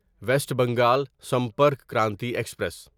waste Bengal Sampark Kranti express